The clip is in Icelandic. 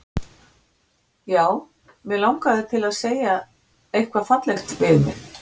Já, mig langaði til að einhver segði eitthvað fallegt við mig.